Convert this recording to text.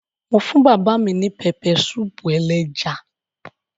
Mo fún bàbá mi ní pẹpẹsúúpù ẹléja.